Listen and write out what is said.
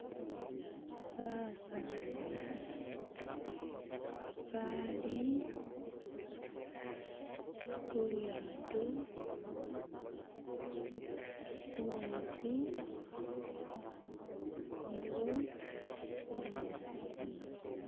Basaani bali khulyato khumetsi khuliwo binyaasi ni bisaala